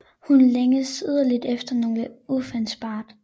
Hun længes inderligt efter noget udefinerbart